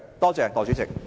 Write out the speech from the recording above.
多謝代理主席。